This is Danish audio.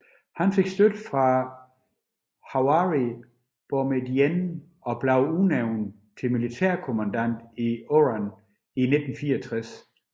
Han fik støtte fra Houari Boumedienne og blev udnævnt til militærkommandant i Oran i 1964